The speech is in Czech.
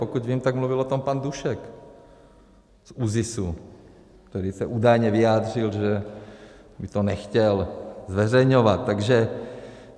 Pokud vím, tak mluvil o tom pan Dušek z ÚZIS, který se údajně vyjádřil, že by to nechtěl zveřejňovat.